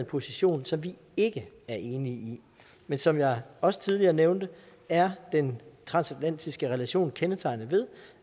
position som vi ikke er enige i men som jeg også tidligere nævnte er den transatlantiske relation kendetegnet ved